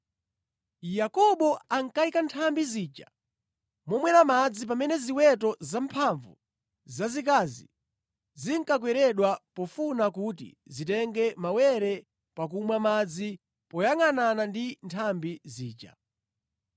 Yakobo ankayika nthambi zija momwera madzi pamene ziweto zamphamvu zazikazi zinkakweredwa pofuna kuti zitenge mawere pakumwa madzi moyangʼanana ndi nthambi zija.